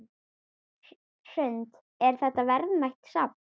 Hrund: Er þetta verðmætt safn?